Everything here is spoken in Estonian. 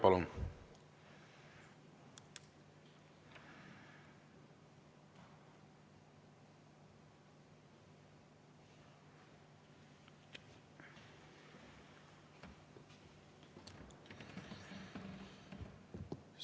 Palun!